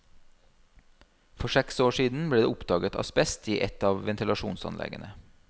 For seks år siden ble det oppdaget asbest i ett av ventilasjonsanleggene.